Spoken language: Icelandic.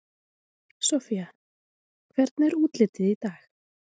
Soffía, hvernig er útlitið í dag?